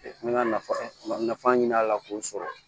N ka nafa ɲina a la k'o sɔrɔ